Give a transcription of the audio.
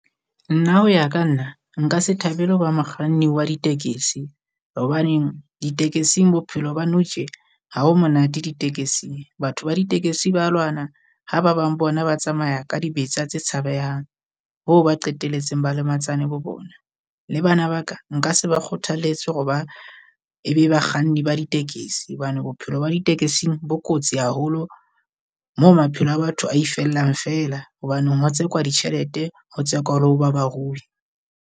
Nna ho ya ka nna nka se thabele ho ba mokganni wa ditekesi, hobaneng ditekesing bophelo ba nou tje ha bo monate ditekesi. Batho ba ditekesi ba lwana, ha ba bang bona ba tsamaya ka dibetsa tse tshabehang, hoo ba qeteletseng ba lematsane bo bona. Le bana ba ka nka se ba kgothaletse hore ba e be bakganni ba ditekesi hobane bophelo ba ditekesing bo kotsi haholo, mo maphelo a batho a ifellang feela, hobaneng o tsekwa ditjhelete ho tsekwa hore ho ba barui.